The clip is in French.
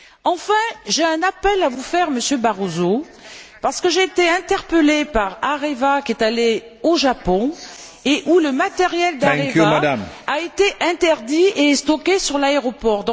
Enfin, j'ai un appel à vous faire, Monsieur Barroso, parce que j'ai été interpelée par Areva, qui est allé au Japon, où son matériel a été interdit et stocké à l'aéroport.